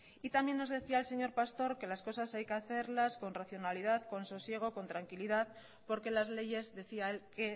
y también nos decía el señor pastor que las cosas hay que hacerlas con racionalidad con sosiego con tranquilidad porque las leyes decía él que